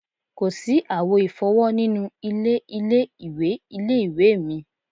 Kò sí àwo ìfọ́wọ́ nínú ilé ilé-ìwẹ̀ ilé-ìwé mi